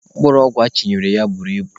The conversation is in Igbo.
Mkpụrụ ọgwụ achịnyere ya buru ibu.